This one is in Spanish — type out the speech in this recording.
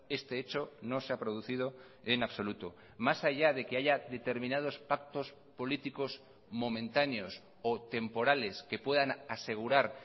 este hecho no se ha producido en absoluto más allá de que haya determinados pactos políticos momentáneos o temporales que puedan asegurar